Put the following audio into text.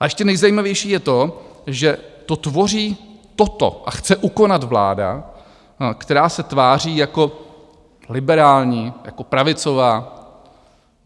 A ještě nejzajímavější je to, že to tvoří, toto, a chce ukonat vláda, která se tváří jako liberální, jako pravicová.